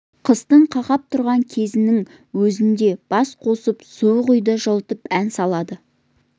қыстың қақап тұрған кезінің өзінде бас қосып суық үйді жылытып ән салады